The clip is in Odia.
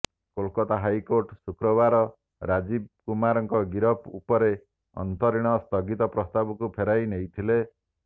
କୋଲକତା ହାଇକୋର୍ଟ ଶୁକ୍ରବାର ରାଜୀବ କୁମାରଙ୍କ ଗିରଫ ଉପରେ ଅନ୍ତରୀଣ ସ୍ଥଗିତ ପ୍ରସ୍ତାବକୁ ଫେରାଇ ନେଇଥିଲେ